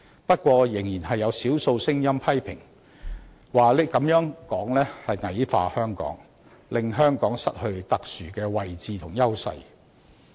不過，仍有少數聲音批評這種說法是矮化香港，令香港失去特殊的位置和優勢。